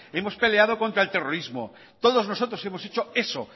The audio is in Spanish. hemos peleado contra el terrorismo todos nosotros hemos hecho eso